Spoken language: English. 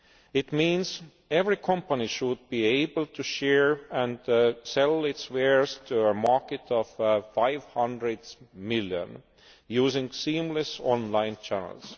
It means every company should be able to share and sell its wares to a market of 500 million, using seamless online channels.